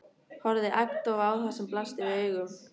Horfði agndofa á það sem blasti við augum.